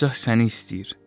Padşah səni istəyir.